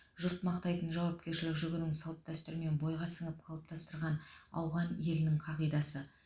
жұрт мақтайтын жауапкершілік жүгінің салт дәстүрмен бойға сіңіп қалыптастырған ауған елінің қағидасы